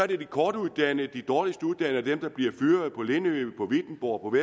det er de kortuddannede de dårligst uddannede og dem der bliver fyret på lindø på wittenborg og